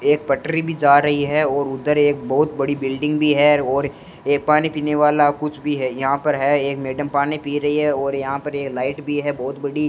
एक पटरी भी जा रही है और उधर एक बहोत बड़ी बिल्डिंग भी है और ये पानी पीने वाला कुछ भी है यहां पर है एक मैडम पानी पी रही है और यहां पर ये लाइट भी है बहोत बड़ी।